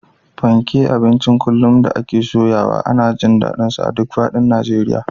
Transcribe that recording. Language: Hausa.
Fanke, abincin kullum da ake soyawa, ana jin daɗinsa a duk faɗin Najeriya